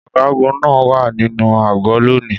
Ọ̀gágun náà wà nínú àgọ́ lónìí.